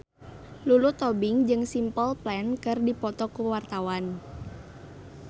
Lulu Tobing jeung Simple Plan keur dipoto ku wartawan